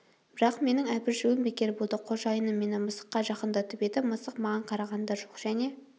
бірақ менің абыржуым бекер болды қожайыным мені мысыққа жақындатып еді мысық маған қараған да жоқ және